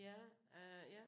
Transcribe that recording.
Ja øh ja